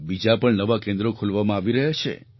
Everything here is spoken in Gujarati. બીજાં પણ નવાં કેન્દ્રો ખોલવામાં આવી રહ્યાં છે